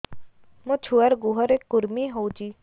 ମୋ ଛୁଆର୍ ଗୁହରେ କୁର୍ମି ହଉଚି